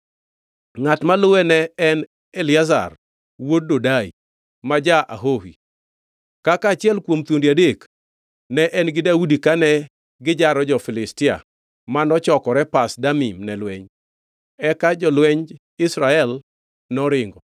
Ngʼat maluwe ne en Eliazar wuod Dodai ma ja-Ahohi. Kaka achiel kuom thuondi adek, ne en gi Daudi kane gijaro jo-Filistia mano chokore Pas Damim ne lweny. Eka jolwenj Israel noringo,